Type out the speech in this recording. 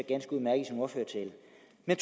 jeg